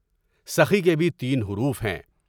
سخی کے بھی تین حروف ہیں۔